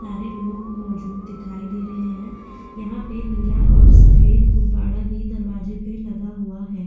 सारे लोग मौजूद दिखाई दे रहे हैं। यहाँ पे नीला और सफेद गुब्बाडा भी दरवाजे पे लगा हुआ है।